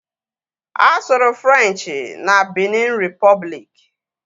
A sụrụ Frenchi na Binin Ripọbliki